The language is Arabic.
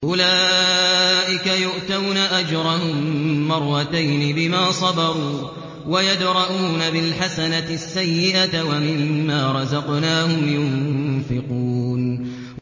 أُولَٰئِكَ يُؤْتَوْنَ أَجْرَهُم مَّرَّتَيْنِ بِمَا صَبَرُوا وَيَدْرَءُونَ بِالْحَسَنَةِ السَّيِّئَةَ وَمِمَّا رَزَقْنَاهُمْ يُنفِقُونَ